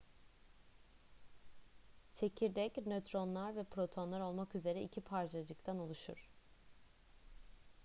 çekirdek nötronlar ve protonlar olmak üzere iki parçacıktan oluşur